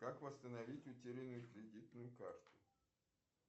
как восстановить утерянную кредитную карту